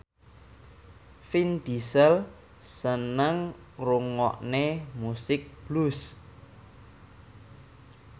Vin Diesel seneng ngrungokne musik blues